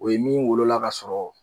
O ye mun wolola ka sɔrɔ.